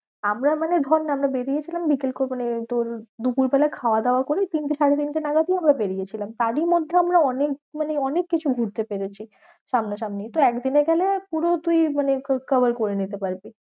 আমরা মানে ধরনা আমরা বেরিয়ে ছিলাম বিকেল মানে দুপুরবেলা খাওয়া দাওয়া করে তিনটে সাড়ে তিনটে নাগাদই আমরা বেরিয়েছিলাম। তারই মধ্যে আমরা অনেক মানে অনেক কিছু ঘুরতে পেরেছি সামনা সামনি। তো একদিনে গেলে পুরো তুই মানে cover করে নিতে পারবি।